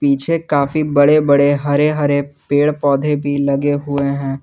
पीछे काफी बड़े बड़े हरे हरे पेड़ पौधे भी लगे हुए हैं।